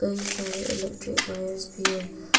कई सारे electric wires भी है।